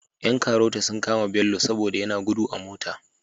Yan karota sun kama bello sobada yana gudu a mota